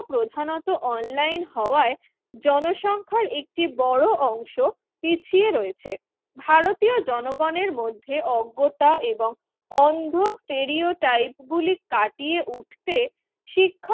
প্রধানত অনলাইন হওয়ায় জনসংখ্যার একটি বড় অংশ পিছিয়ে রয়েছে। ভারতীয় জনগণের মধ্যে অজ্ঞতা এবং অন্ধ স্টেরিওটাইপ গুলি কাটিয়ে উঠতে শিক্ষা